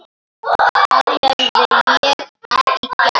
Það hefði ég ekki gert.